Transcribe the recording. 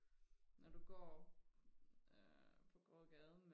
når du går øh på gågaden